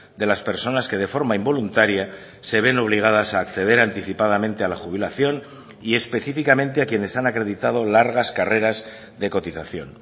de las personas que de forma involuntaria se ven obligadas a acceder anticipadamente a la jubilación y específicamente a quienes han acreditado largas carreras de cotización